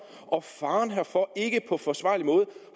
og faren herfor ikke på forsvarlig måde